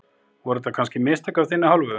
Voru þetta kannski mistök af þinni hálfu?